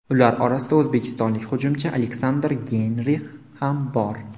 Ular orasida o‘zbekistonlik hujumchi Aleksandr Geynrix ham bor.